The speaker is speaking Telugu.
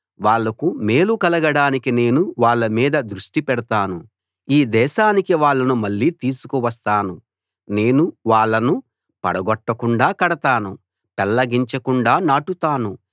వాళ్లకు మేలు కలగడానికి నేను వాళ్ళ మీద దృష్టి పెడతాను ఈ దేశానికి వాళ్ళను మళ్ళీ తీసుకువస్తాను నేను వాళ్ళను పడగొట్టకుండా కడతాను పెళ్లగించకుండా నాటుతాను